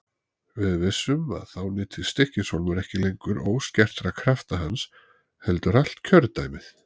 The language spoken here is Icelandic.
Við vissum að þá nyti Stykkis- hólmur ekki lengur óskertra krafta hans heldur allt kjördæmið.